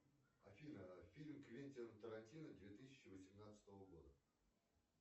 афина фильм квентина тарантино две тысячи восемнадцатого года